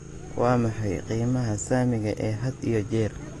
Waa maxay qiimaha saamiga ee had iyo jeer?